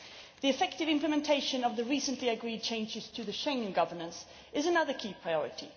The effective implementation of the recently agreed changes to the Schengen governance is another key priority.